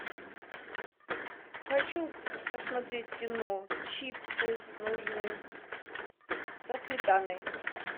хочу посмотреть кино чипсы нужны со сметаной